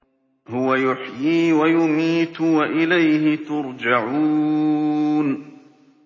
هُوَ يُحْيِي وَيُمِيتُ وَإِلَيْهِ تُرْجَعُونَ